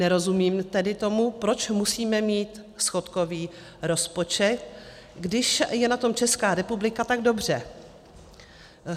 Nerozumím tedy tomu, proč musíme mít schodkový rozpočet, když je na tom Česká republika tak dobře?